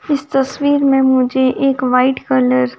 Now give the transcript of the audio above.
इस तस्वीर में मुझे एक वाइट कलर --